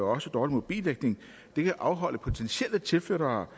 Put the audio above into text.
også dårlig mobildækning kan afholde potentielle tilflyttere